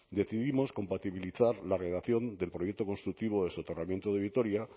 decidimos compatibilizar la redacción del proyecto constructivo del soterramiento de vitoria